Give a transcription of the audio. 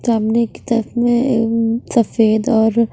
सामने की तरफ में अ उम्म सफेद और--